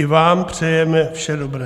I vám přejeme vše dobré.